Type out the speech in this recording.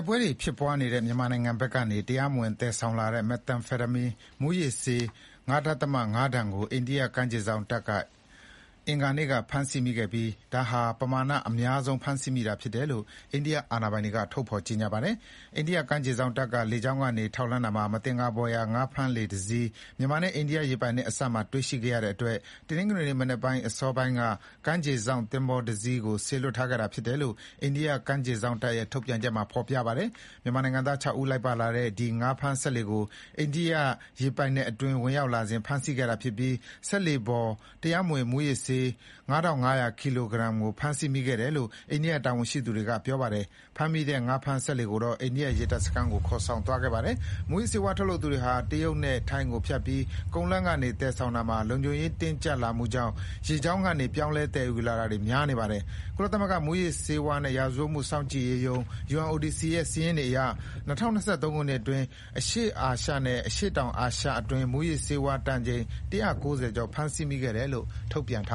စ်ပွဲတွေဖြစ်ပွားနေတဲ့ မြန်မာနိုင်ငံဘက်ကနေ တရားမဝင်သယ်ဆောင်လာတဲ့ မက်သာအက်ဖာတမင်း(methamphetamine) မူးယစ်ဆေး ၅ ဒသမ ၅ တန်ကို အိန္ဒိယကမ်းခြေစောင့်တပ်က အင်္ဂါနေ့က ဖမ်းဆီးမိခဲ့ပါတယ်။ ဒါဟာပမာဏအများဆုံးဖမ်းဆီးမိတာဖြစ်ကြောင်း အိန္ဒိယအာဏာပိုင်တွေက ထုတ်ဖေါ်ကြေညာပါတယ်။ အိန္ဒိယကမ်းခြေစောင့်တပ်က လေကြောင်းကနေထောက်လှမ်းရာမှာ မသင်္ကာဖွယ်ရာ ငါးဖမ်းစက်လှေ တစီး မြန်မာနဲ့အိန္ဒိယရေပိုင်နက်အစပ်မှာတွေ့ရှိခဲ့ရတဲ့အတွက် တနင်္ဂနွေနေ့မနက်အစောပိုင်းကတည်းက ကမ်းခြေစောင့်သင်္ဘောတစီးကို စေလွှတ်ထားခဲ့တာဖြစ်တယ်လို့ အိန္ဒိယကမ်းခြေစောင့်တပ်ရဲ့ ထုတ်ပြန်ချက်မှာ ဖေါ်ပြထားပါတယ်။ မြန်မာနိုင်ငံသား ၆ ဦးလိုက်ပါလာတဲ့ ဒီငါးဖမ်းစက်လှေကို အိန္ဒိယရေပိုင်နက်အတွင်း ဝင်ရောက်လာစဉ် ဖမ်းဆီးခဲ့ပြီး စက်လှေပေါ်မှာ တရားမဝင်မူးယစ်ဆေး ၅၅၀၀ ကီလိုဂရမ်ကိုဖမ်းဆီးမိခဲ့တယ်လို့ အိန္ဒိယတာဝန်ရှိသူတွေကပြောပါ တယ်။ဖမ်းမိတဲ့ငါးဖမ်းစက်လှေကိုတော့ အိန္ဒိယရေတပ်စခန်းကို ခေါ်ဆောင်သွားခဲ့ပါတယ်။ မူးယစ်ဆေးဝါးထုတ်လုပ်သူတွေဟာ တရုတ်နဲ့ထိုင်းကိုဖြတ်ပြီး ကုန်းလမ်းကနေသယ်ဆောင်ရာမှာ လုံခြုံရေးတင်းကြပ်လာမှုကြောင့် ရေကြောင်းကနေ ပြောင်းလဲသယ်ယူတာတွေများလာနေပါတယ်။ ကုလသမဂ္ဂမူးယစ်ဆေးဝါးနဲ့ရာဇဝတ်မှုစောင့်ကြည့်ရေးရုံး UNODC ရဲ့ စာရင်းတွေအရ ၂၀၂၃ ခုနှစ်အတွင်း အရှေ့အာရှနဲ့ရှေ့တောင်အာရှအတွင်း မူးယစ်ဆေးဝါးတန်ချိန် ၁၉၀ ကျော် ဖမ်းဆီးမိခဲ့တယ်လို့ ထုတ်ပြန်ထား